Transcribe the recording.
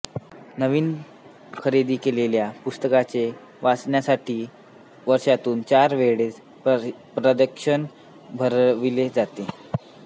नवीन खरेदी केलेल्या पुस्तकांचे वाचकांसाठी वर्षातून चार वेळेस प्रदर्शन भरविले जाते